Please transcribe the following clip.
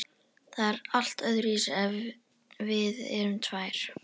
Það lítur öðruvísi út ef við erum tvær.